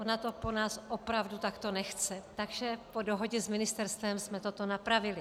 Ona to po nás opravdu takto nechce, tak po dohodě s ministerstvem jsme toto napravili.